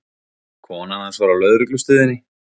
Konan hans var á lögreglustöðinni.